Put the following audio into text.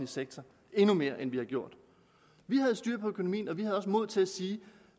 sektor endnu mere end vi har gjort vi havde styr på økonomien og vi havde også mod til at sige